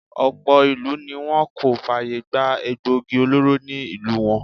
Ọ̀pọ̀ ìlú ni wọ́n kò fàyè gbà egboògi olóró ní ìlú wọn.